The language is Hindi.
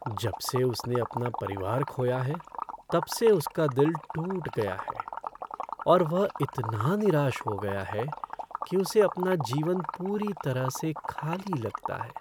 जब से उसने अपना परिवार खोया है तब से उसका दिल टूट गया है और वह इतना निराश हो गया है कि उसे अपना जीवन पूरी तरह से खाली लगता है।